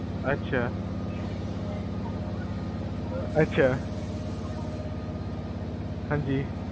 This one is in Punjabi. ਅਛਾ , ਅਛਾ, ਹਾਂਜੀ